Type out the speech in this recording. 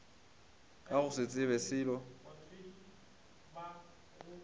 ka go se tsebe selo